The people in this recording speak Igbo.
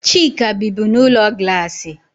Chika bibu n'ulo glassi.